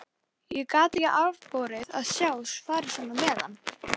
Ég gat ekki afborið að sjá farið svona með hann.